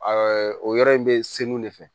o yɔrɔ in bɛ se mun de fɛ